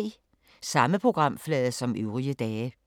Samme programflade som øvrige dage